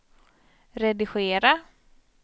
redigera